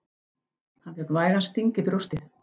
Hann fékk vægan sting í brjóstið.